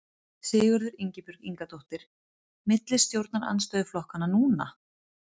Sigríður Ingibjörg Ingadóttir: Milli stjórnarandstöðuflokkanna núna?